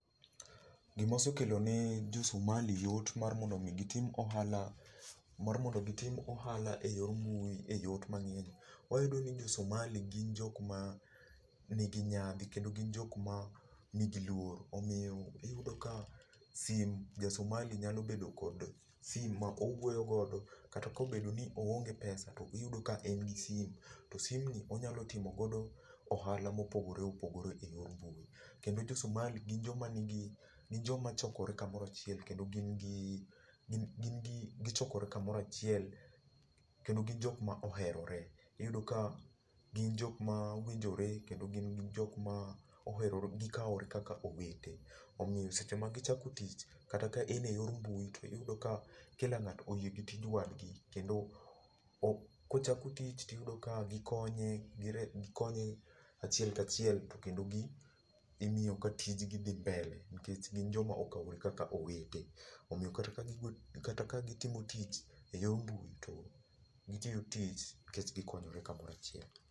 Gima osekelo ne josomali yot mar mondo mi gitim ohala mar mondo mi gitim ohala eyor mbui eyot mangeny, wayudo ni jososmali gin jok ma nigi nyadhi kendo gin jokma nigi luor. omiyo iyudo ka simu, jasomali nyalo bedo kod simu ma owuoyo godo , kata ka ooenge pesa to iyudo ka en gi simu to simni onyalo timo go ohala mopogore opogore eyor mbui. Kendo jo somali gin jomachokore kamoro achiel kendo gin jok maoherore. iyudo ka gin jok mawinjore kendo gin jok ma oherore gikaore kaka owete omiyo seche ma gichako tich kata eyor mbui tiyudo ka kila ng'ato oyie gi tij wadgi kendo ka ochako tich tiyudo ka gikonye achiel kachiel kendo gimiyo tijgi dhi mbele nikech gin joma okaore kaka owete omiya kata ka gitimo tich eyor mbui to gitiyo tich nikech gikonyore kamoro achiel